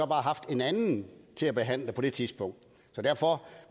bare haft en anden til at behandle det på det tidligere tidspunkt så derfor